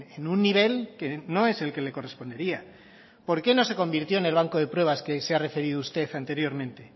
en un nivel que no es el que le correspondería por qué no se convirtió en el banco de pruebas que se ha referido usted anteriormente